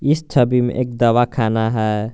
इस छवि में एक दवा खाना है।